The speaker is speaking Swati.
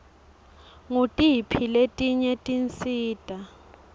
ngutiphi letinye tinsita